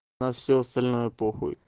а всё остальное похуй